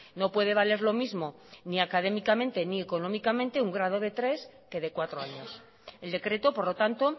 no puede valer lo mismo ni académicamente ni económicamente un grado de tres que de cuatro años el decreto por lo tanto